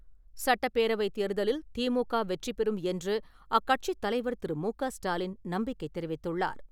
சட்டப்பேரவைத் தேர்தலில் திமுக வெற்றிபெறும் என்று அக்கட்சித் தலைவர் திரு. மு. க. ஸ்டாலின் நம்பிக்கை தெரிவித்துள்ளார்.